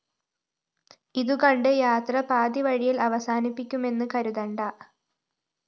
ഇതുകണ്ട് യാത്ര പാതിവഴി യില്‍ അവസാനിപ്പിക്കുമെന്ന് കരുതണ്ട